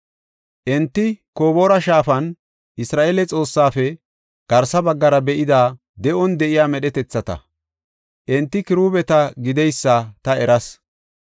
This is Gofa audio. Enti Koboora shaafan Isra7eele Xoossaafe garsa baggara be7ida de7on de7iya medhetathata. Enti kiruubeta gideysa ta eras.